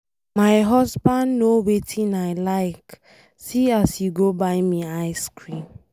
My husband know wetin I like, see as he go buy me ice cream.